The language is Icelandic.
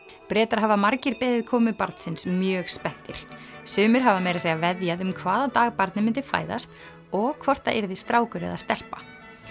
Bretar hafa margir beðið komu barnsins mjög spenntir sumir hafa meira að segja veðjað um hvaða dag barnið myndi fæðast og hvort það yrði strákur eða stelpa